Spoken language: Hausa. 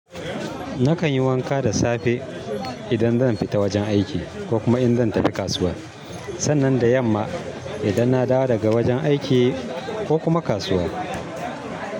Nakan yi wanka da safe idan zan fita wajen aiki ko kuma in zan tafi kasuwa. Sannan da yamma idan na dawo daga wajen aiki ko kuma kasuwa.